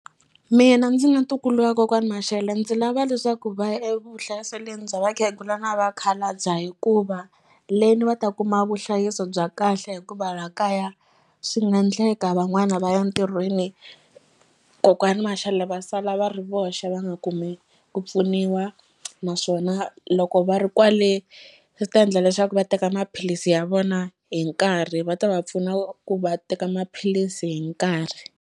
Mina ndzi nga ntukulu wa kokwani Mashele ndzi lava leswaku va ya evuhlayiselweni bya vakhegula na vakhalabya hikuva le ni va ta kuma vuhlayiseko bya kahle hikuva la kaya swi nga ndleka van'wana va ya ntirhweni kokwani Mashele va sala va ri voxe va nga kumi ku pfuniwa naswona loko va ri kwale swi ta endla leswaku va teka maphilisi ya vona hi nkarhi va ta va pfuna ku va teka maphilisi hi nkarhi.